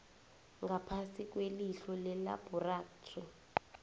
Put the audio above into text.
ngaphasi kwelihlo lelabhorathri